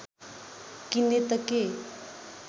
किन्ने त के